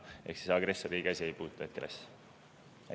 Ehk see agressorriigi asi ei puutu hetkel asja.